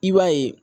I b'a ye